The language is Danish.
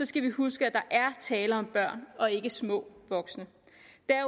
skal vi huske at der er tale om børn og ikke små voksne